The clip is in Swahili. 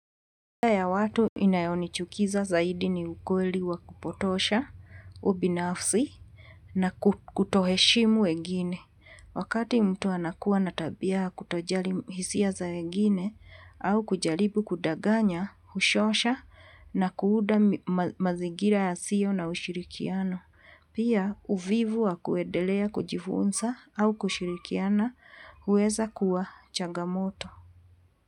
Ya watu inayo nichukiza zaidi ni ukweli wa kupotosha, ubinafsi na kutoheshimu wegini. Wakati mtu anakuwa na tabia ya kutojali hisia za wengine au kujalibu kudaganya, ushosha na kuuda mazigira yasio na ushirikiano. Pia uvivu wa kuedelea kujifunsa au kushirikiana huweza kuwa changamoto.